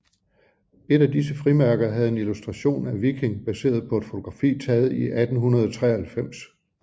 Et af disse frimærker havde en illustration af Viking baseret på et fotografi taget i 1893